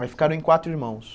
Aí ficaram em quatro irmãos.